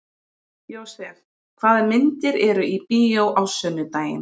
Jósef, hvaða myndir eru í bíó á sunnudaginn?